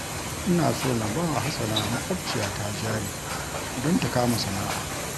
Ina so na ba wa Hasana maƙwabciyata jari don ta kama sana'a